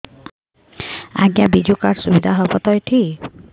ଆଜ୍ଞା ବିଜୁ କାର୍ଡ ସୁବିଧା ହବ ତ ଏଠି